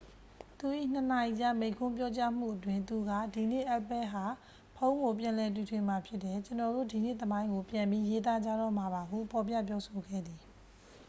"သူ၏ ၂ နာရီကြား မိန့်ခွန်းပြောကြားမှုအတွင်း သူက "ဒီနေ့ apple ဟာ ဖုန်းကို ပြန်လည်တီထွင်မှာ ဖြစ်တယ်။ ကျွန်တော်တို့ ဒီနေ့သမိုင်းကို ပြန်ပြီးရေးသားကြတော့မှာပါ" ဟု ဖော်ပြပြောဆိုခဲ့သည်။